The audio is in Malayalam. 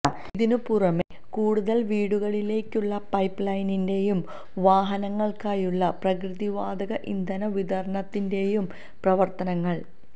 ഇതിന് പുറമെ കൂടുതല് വീടുകളിലേക്കുള്ള പൈപ്പ് ലൈനിന്റേയും വാഹനങ്ങള്ക്കായുള്ള പ്രകൃതിവാതക ഇന്ധന വിതരണത്തിന്റെയും പ്രവര്ത്തനങ്ങള്